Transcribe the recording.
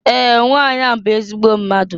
Ee! Nwanyị ahụ bụ ezigbo mmadụ.